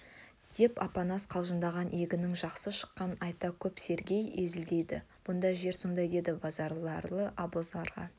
деп апанас қалжыңдаған егіннің жақсы шыққанын айта кеп сергей езілдейді бұнда жер сондай деді базаралы абылғазыларға